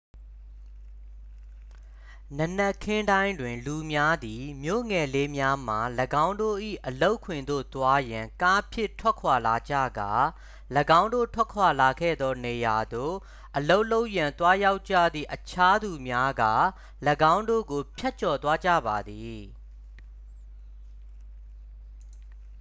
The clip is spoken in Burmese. နံနက်ခင်းတိုင်းတွင် လူများသည် မြို့ငယ်လေးများမှ ၎င်းတို့၏အလုပ်ခွင်သို့သွားရန် ကားဖြင့် ထွက်ခွာလာကြကာ ၎င်းတို့ထွက်ခွာလာခဲ့သောနေရာသို့ အလုပ်လုပ်ရန်သွားရောက်ကြသည့် အခြားသူများက ၎င်းတို့ကိုဖြတ်ကျော်သွားကြပါသည်